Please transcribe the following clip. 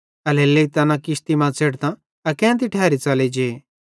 एल्हेरेलेइ तैना किश्ती मां च़ेढ़तां अकेन्ती ठैरी च़ेलि जे